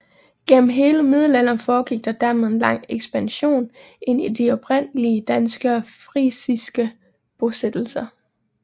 Gennem hele middelalderen foregik der dermed en langsom ekspansion ind i de oprindelige danske og frisiske bosættelser